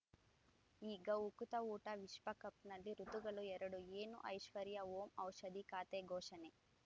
ಈಗ ಉಕುತ ಊಟ ವಿಶ್ವಕಪ್‌ನಲ್ಲಿ ಋತುಗಳು ಎರಡು ಏನು ಐಶ್ವರ್ಯಾ ಓಂ ಔಷಧಿ ಖಾತೆ ಘೋಷಣೆ